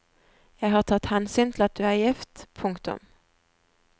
Jeg har tatt hensyn til at du er gift. punktum